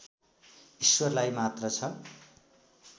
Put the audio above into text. ईश्वरलाई मात्र छ